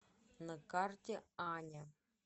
на карте аня